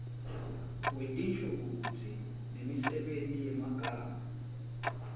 wetinshokutsi nemisebenti yemagama